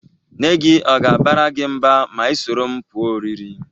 Nne gi ọ ga-abara gi mba ma ị soro m pụọ ọrịrị?